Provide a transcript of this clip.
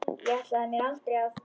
Ég ætlaði mér aldrei að.